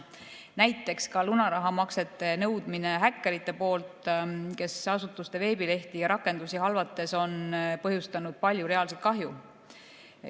Näiteks, ka lunarahamaksete nõudmisena häkkerite poolt, kes asutuste veebilehti ja rakendusi halvates on põhjustanud palju reaalset kahju.